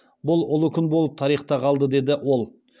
бұл ұлы күн болып тарихта қалды деді ол